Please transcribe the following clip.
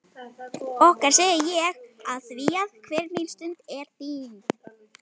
Okkar segi ég afþvíað hver mín stund er þín.